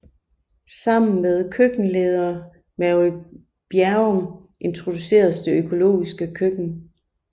Sammen med køkkenleder Mary Bjerrum introduceredes det økologiske køkken